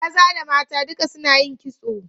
Maza da mata duka suna yin kitso